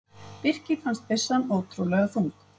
Birki fannst byssan ótrúlega þung.